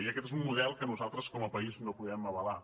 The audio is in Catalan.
i aquest és un model que nosaltres com a país no podem avalar